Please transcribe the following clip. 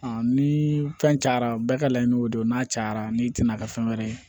ni fɛn cayara bɛɛ ka laɲini o de don n'a cayara n'i tɛna kɛ fɛn wɛrɛ ye